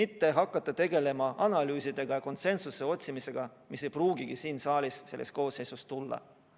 Ei maksa tegeleda analüüsidega ja konsensuse otsimisega, mida ei pruugigi selles saalis selles koosseisus saavutada.